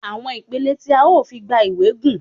Àwọn ìpele tí a ó fi gba ìwé gùn.